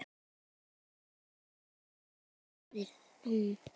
Helga: Hvað gerir hún?